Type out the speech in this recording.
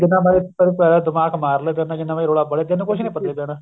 ਜਿੰਨਾ ਮਰਜੀ ਫ਼ਰਕ ਨੀ ਦਿਮਾਗ਼ ਮਾਰਲੋ ਤੇਰੇ ਨਾਲ ਜਿੰਨਾ ਮਰਜੀ ਰੋਲਾ ਪਾਲੇ ਤੈਨੂੰ ਕੁੱਝ ਨੀ ਪਤਾ ਲੱਗਣਾ